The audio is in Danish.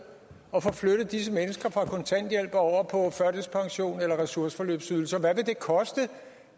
at få flyttet disse mennesker fra kontanthjælp over på førtidspension eller en ressourceforløbsydelse og hvad vil det koste